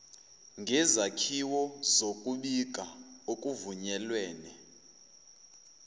ngezakhiwo zokubika okuvunyelwene